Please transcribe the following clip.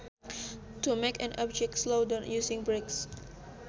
To make an object slow down using brakes